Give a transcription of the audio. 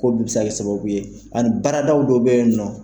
Ko bɛɛ bɛ se ka kɛ sababu ye ani baaradaw dɔw bɛ yen nɔ